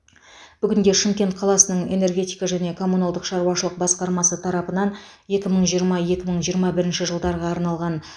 бүгінде шымкент қаласының энергетика және коммуналдық шаруашылық басқармасы тарапынан екі мың жиырма екі мың жиырма бірінші жылдарға арналған